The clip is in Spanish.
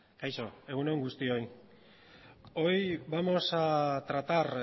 kaixo egun on guztioi hoy vamos a tratar